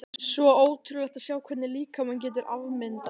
Svo ótrúlegt að sjá hvernig líkaminn getur afmyndast.